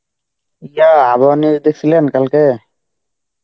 তা, আবহাওয়া news দেখছিলেন কালকে?